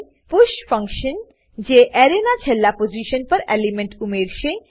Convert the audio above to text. push function જે એરેના છેલ્લા પોઝીશન પર એલિમેન્ટ ઉમેરશે